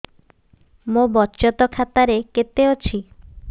ମୋ ବଚତ ଖାତା ରେ କେତେ ଅଛି